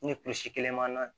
Ni kulisi kelen b'an na